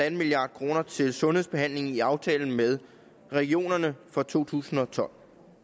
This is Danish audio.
en milliard kroner til sundhedsbehandling i aftalen med regionerne for to tusind og tolv